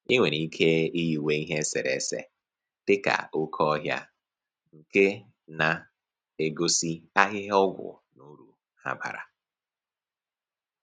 I nwere ike iyiwe ihe eserese dịka oke ọhịa nke na-egosi ahịhịa ọgwụ na uru ha bara